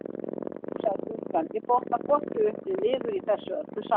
Ó sagði stúlkan, ég botna hvorki upp né niður í þessu öllu saman